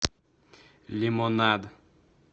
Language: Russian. лимонад